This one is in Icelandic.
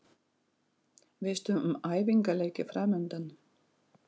Veistu um æfingaleiki framundan?